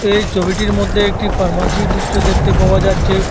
এই ছবিটির মধ্যে একটি ফার্মাসির দৃশ্য দেখতে পাওয়া যাচ্ছে।